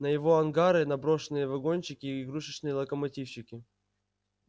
на его ангары на брошенные вагончики и игрушечные локомотивчики